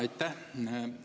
Aitäh!